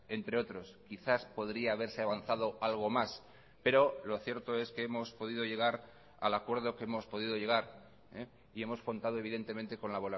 entre otros quizás podría haberse avanzado algo más pero lo cierto es que hemos podido llegar al acuerdo que hemos podido llegar y hemos contado evidentemente con la